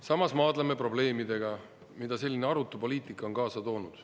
Samas maadleme probleemidega, mida selline arutu poliitika on kaasa toonud.